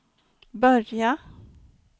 börjat